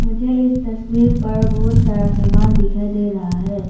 मुझे इस तस्वीर पर बहोत सारा सामान दिखाई दे रहा है।